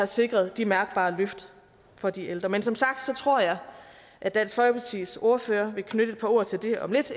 sikret de mærkbare løft for de ældre men som sagt tror jeg at dansk folkepartis ordfører vil knytte et par ord til det om lidt